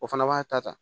O fana b'a ta ta